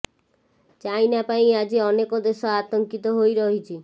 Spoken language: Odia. ଚାଇନା ପାଇଁ ଆଜି ଅନେକ ଦେଶ ଆତଙ୍କିତ ହୋଇ ରହିଛି